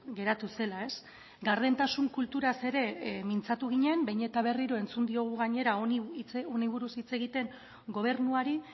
geratu zela gardentasun kulturaz ere mintzatu ginen behin eta berriro entzun diogu gainera honi buruz hitz egiten gobernuari